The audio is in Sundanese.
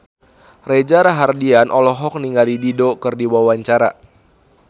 Reza Rahardian olohok ningali Dido keur diwawancara